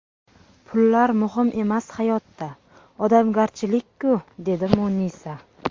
Pullar muhim emas hayotda, odamgarchilik-ku, dedi Munisa.